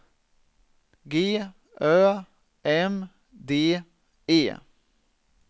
G Ö M D E